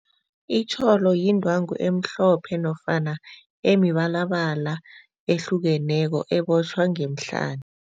Itjholo yindwangu emhlophe nofana emibalabala ehlukeneko ebotjhwa ngemihlani.